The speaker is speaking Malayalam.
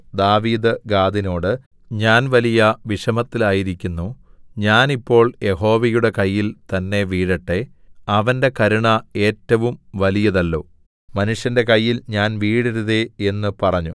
ദാവീദ് ഗാദിനോട് ഞാൻ വലിയ വിഷമത്തിലായിരിക്കുന്നു ഞാൻ ഇപ്പോൾ യഹോവയുടെ കയ്യിൽ തന്നേ വീഴട്ടെ അവന്റെ കരുണ ഏറ്റവും വലിയതല്ലോ മനുഷ്യന്റെ കയ്യിൽ ഞാൻ വീഴരുതേ എന്നു പറഞ്ഞു